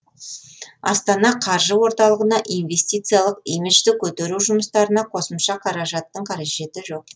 астана қаржы орталығына инвестициялық имиджді көтеру жұмыстарына қосымша қаражаттың қажеті жоқ